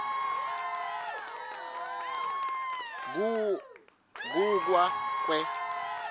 ku kwa kwe